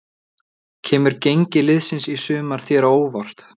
Kemur gengi liðsins í sumar þér á óvart?